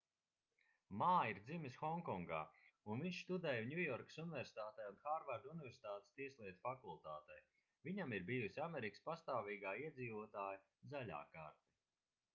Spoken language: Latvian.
mā ir dzimis honkongā un viņš studēja ņujorkas universitātē un hārvarda universitātes tieslietu fakultātē viņam ir bijusi amerikas pastāvīgā iedzīvotāja zaļā karte